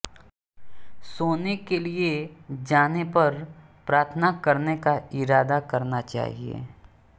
सोने के लिए जाने पर प्रार्थना करने का इरादा करना चाहिए